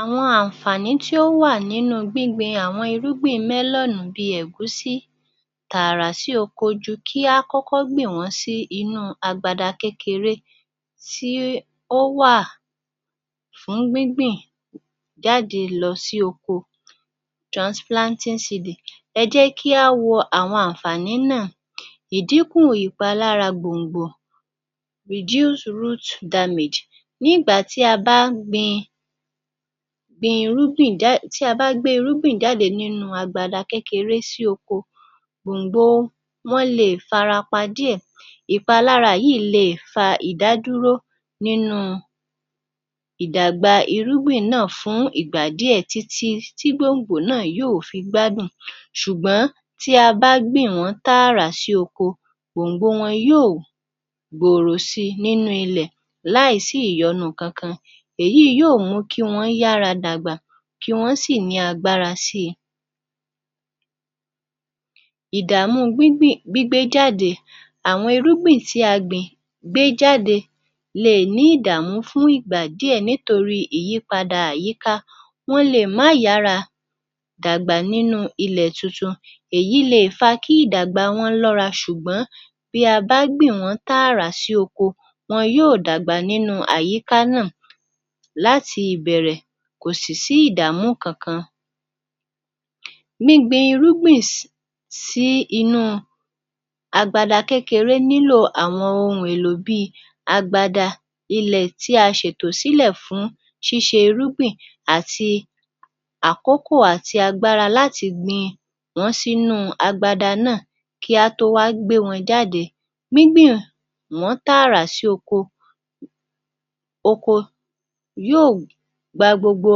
Àwọn àǹfààní tí ó wà nínú gbígbin àwọn irúgbìn melon cs bíi ẹ̀gúsí tààrà sí oko ju kí a kọ́kọ́ gbìn wọ́n sí inú agbada kékeré tí ó wà fún gbíngbìn jáde lọ sí oko, transplanting seedic cs. Ẹ jẹ́ kí a wo áwọn àǹfání náà ìdińkù ìpalára gbòǹgbò reduce root damage cs ní ìgbà tí a bá ń gbe irúgbin jáde kúrò nínú agbada kékeré sí oko, wọn lè fara pa díẹ̀. Ìpalára yìí le fa ìdádúró nínú ìdàgbà irúgbìn náà fún ìgbà díẹ̀ títí tí gboǹgbò náà yóò fi gbádùn. Ṣugbọ́n tí a bá gbìn wọ́n tààrà sí oko, gbòǹgbò wọn yóò gbòòrò sí i nínú ilẹ̀ láìsí ìyọnu kankan. Èyí yóò mú kí wọn yára dàgbà kí wọ́n sì ní agbára si i. Ìdàmú gbígbé e jáde àwọn irúgbiń tí a gbìn gbé jáde le è ní ìdààmú fún ìgbà díẹ̀ nítorí àyípadà àyíká. Wọn lè má yàára dàgbà nínú ilẹ̀ tuntun èyí leè fa kí ìdàgbà wọn lọ́ra, ṣùgbọ́n bí a bá gbìn wọń tààra si oko wọn yóò dàgbà sínú àyíká náà láti ìbẹ̀rẹ̀ kò sì ní sí ìdààmú kankan. Gbígbin irúgbìn sí sí inú agbada kékeré nílò àwọn ohun èlò bí i agbada ilẹ̀ tí a ṣètò sílẹ̀ fún síṣe irúgbìn àti akókò àti agbára lati gbìn wọn sínú agbada náà kí á tó wá gbé wọn jáde. Gbigbiǹ wọn tààra sí oko oko oko yóò hù pa gbogbo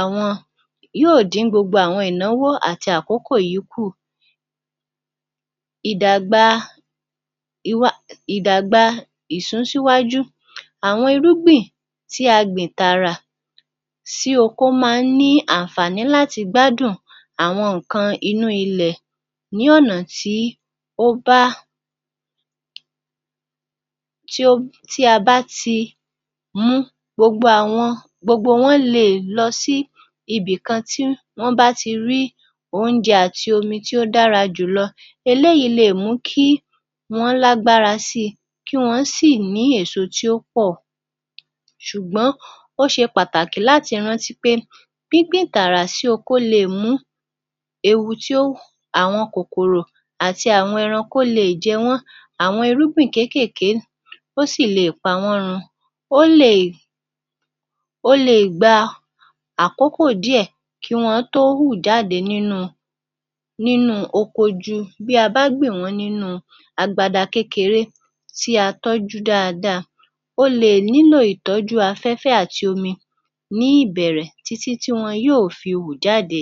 àwọn yóò dín gbogbo ìnáwó àkókò yìí ku. Idàgbà ìsún síwájú àwọn irúgbìn tí a gbin tààrà sí oko máa ń ni àǹfààní láti gbádùn àwọn nǹkan inú ilẹ̀ ní ọ̀nà tí ó bá tí a bá ti mú gbogbo àwọn gbogbo wọn leè lọ sí ibìkan ti wọn bá ti rí oúnjẹ àti oni tí o dára julọ. Eléyìí lè mú kí wọn lágbára sí i kí wọn sì ní èso tí ó pọ̀ ṣùgbọ́n ó ṣe pàtàkì láti rántí pé gbińgbìn tààrà sí oko o le è mú ewu tí ó wu àwọn kòkòrò àti àwọn ẹranko leè jẹ wọ́n. Àwọn irúgbìn kéékèèké wọ́n sì leè pa wọ́n run. O leè o leè gba àkókò díẹ̀ kí wọ́n tó hù jáde nínú oko ju bí a bá gbìn wọ́n nínú agbada kékeré tí a tọ́jú dáadáa. O leè nílò ìtọ́jú afẹ́fẹ́ àti omi ní ìbẹ̀rẹ̀ títí tí wọn yóò fi hù jáde